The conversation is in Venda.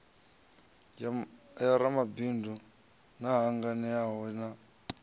ya ramabindu na hangenalano ya